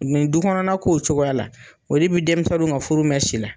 Nin dukɔnɔna ko cogoya la, o de bi denmisɛnnu ka furu mɛn si la.